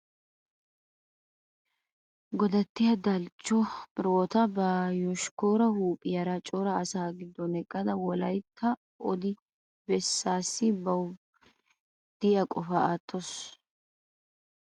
Godattiya Daalachcho Firihiwota ba yoshkkaara huuphiyara cora asaa giddon eqqada Wolaytta odi bessaassi bawu diya qofaa wottawusu. Asa ubbay O xeellees.